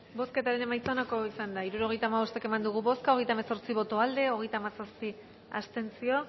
bozketaren emaitza onako izan da hirurogeita hamabost eman dugu bozka hogeita hemezortzi boto aldekoa hogeita hamazazpi abstentzio